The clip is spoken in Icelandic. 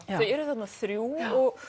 eru þarna þrjú